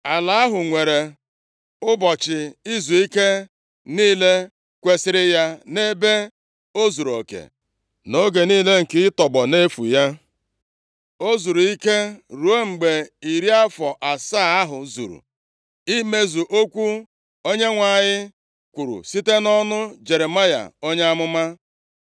Ala ahụ nwere ụbọchị izuike niile kwesiri ya nʼebe o zuruoke, nʼoge niile nke ịtọgbọ nʼefu ya, o zuru ike, ruo mgbe iri afọ asaa ahụ zuru, nʼimezu okwu Onyenwe anyị kwuru site nʼọnụ Jeremaya onye amụma.